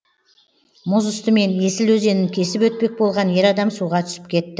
мұз үстімен есіл өзенін кесіп өтпек болған ер адам суға түсіп кетті